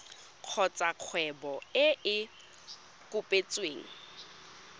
kgotsa kgwebo e e kopetsweng